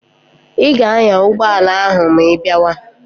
Ị ga-anya ụgbọala ahụ ma ị bịawa!